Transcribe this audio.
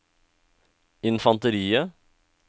infanteriet